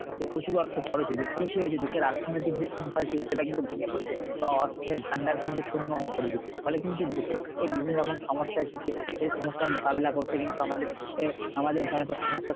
এ প্রচুর অর্থ খরচ হয়েছে ফলে কি হয়েছে অর্থনৈতিক যে শৃংখল ছিল সেটা কিন্তু ভেঙে পড়েছে বা অর্থের ভান্ডার কিন্তু শূন্য হয়ে পড়েছে। ফলে কিন্তু দেশে বিভিন্ন রকম সমস্যা এসেছে সেই সমস্যার মোকাবেলা করতে কিন্তু আমাদের অ্যাঁ আমাদের সমস্যার